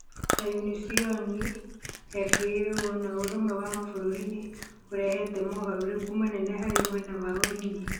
ta Unision, FAO, na ũrũmwe wa Mabũrũri nĩ ũrehete mogarũrũku manene harĩ mwena wa ũrĩmi.